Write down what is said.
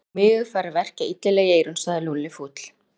Og mig er farið að verkja illilega í eyrun sagði Lúlli fúll.